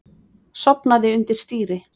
Sofnaði undir stýri